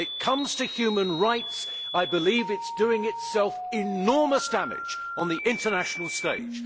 When it comes to human rights, I believe that it is doing itself enormous damage on the international stage.